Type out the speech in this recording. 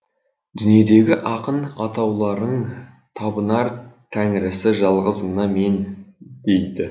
дүниедегі ақын атаулының табынар тәңірісі жалғыз мына мен дейді